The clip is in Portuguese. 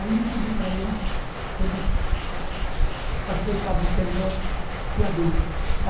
Aí eu pedi para eles se eles aceitavam ser meu fiador.